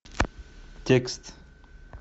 текст